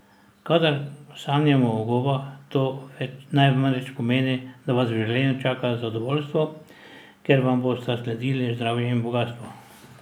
Kadar sanjamo o gobah, to namreč pomeni, da vas v življenju čaka zadovoljstvo, ker vam bosta sledili zdravje in bogastvo.